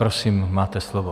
Prosím, máte slovo.